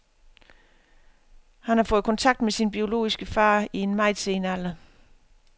Han har fået kontakt med sin biologiske far i en meget sen alder.